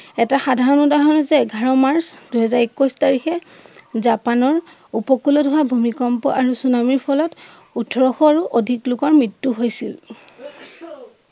এটা সাধাৰণ উদাহৰণ হৈছে এঘাৰ মাৰ্চ দুইহাজাৰ-একৈছ তাৰিখে জাপানৰ উপকূলত হোৱা ভূমিকম্প আৰু চুনামীৰ ফলত উঠৰশ আৰু অধিক লোকৰ মৃত্য়ু হৈছিল।